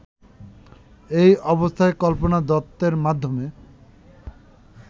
এ অবস্থায় কল্পনা দত্তের মাধ্যমে